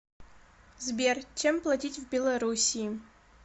сбер чем платить в белоруссии